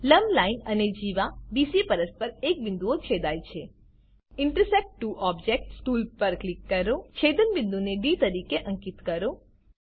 લંબ લાઈન અને જીવા બીસી પરસ્પર એક બિંદુએ છેદાય છે ઇન્ટરસેક્ટ ત્વો ઓબ્જેક્ટ્સ ટૂલ પર ક્લિક કરો છેદન બિંદુને ડી તરીકે અંકીત કરો